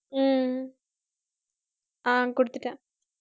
ஹம் ஆஹ் குடுத்துட்டேன்